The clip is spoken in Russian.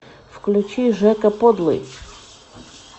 включи жека подлый